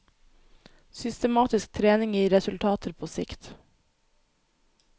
Systematisk trening gir resultater på sikt.